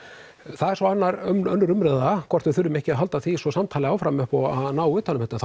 það er svo önnur umræða hvort við þurfum ekki að halda því samtali áfram upp á að ná utan um þetta